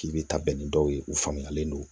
K'i bɛ taa bɛn ni dɔw ye u faamuyalen don